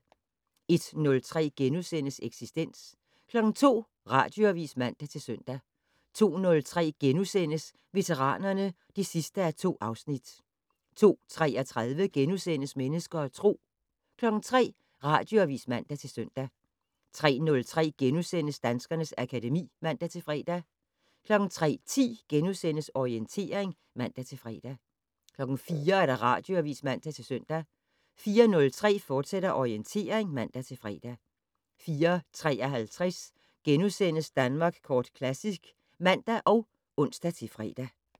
01:03: Eksistens * 02:00: Radioavis (man-søn) 02:03: Veteranerne (2:2)* 02:33: Mennesker og Tro * 03:00: Radioavis (man-søn) 03:03: Danskernes akademi *(man-fre) 03:10: Orientering *(man-fre) 04:00: Radioavis (man-søn) 04:03: Orientering, fortsat (man-fre) 04:53: Danmark Kort Classic *(man og ons-fre)